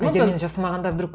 егер мен жасамағанда вдруг